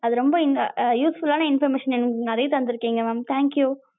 அது ரொம்ப useful ஆன information எங்களுக்கு நெறையா தந்துருகிங்க mam, thank you